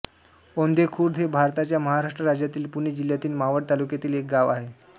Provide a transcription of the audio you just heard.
औंधे खुर्द हे भारताच्या महाराष्ट्र राज्यातील पुणे जिल्ह्यातील मावळ तालुक्यातील एक गाव आहे